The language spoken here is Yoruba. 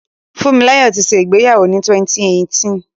Fúnmilọ́là ti ṣẹ ìgbéyàwó ni 2018.